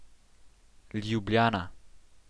Ljubljana.